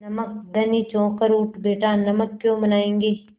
नमक धनी चौंक कर उठ बैठा नमक क्यों बनायेंगे